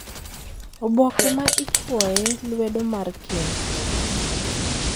Oboke ma ichwoye lwedo mar keny,